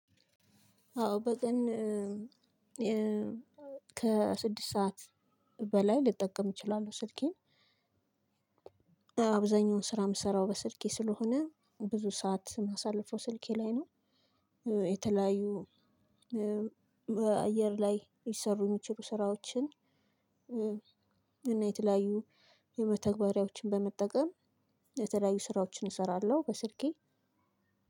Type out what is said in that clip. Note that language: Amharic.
አዎ በቀን ከስድስት ሰዓት በላይ ልጠቀም እችላለሁ ስልኬን አብዛኛውን ስራ የምሰራው በስልኬ ስለሆነ ብዙ ሰዓት ማሳለፈው ስልኬ ላይ ነው። የተለያዩ በአየር ላይ ሊሰሩ ሚችሉ ስራዎችን እና የተለያዩ የመተግበሪያዎችን በመጠቀም የተለያዩ ስራዎችን እሰራለሁ። በስልኬ